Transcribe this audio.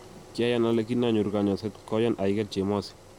Kiayan ale kin anyoru konyoiset koyaan aigeit chemosi